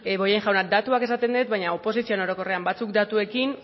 bollain jauna datuak esaten dut baino oposizioen orokorrean batzuk datuekin